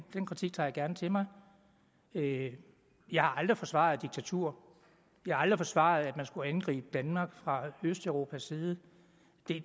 den kritik tager jeg gerne til mig jeg har aldrig forsvaret diktatur jeg har aldrig forsvaret at man skulle angribe danmark fra østeuropas side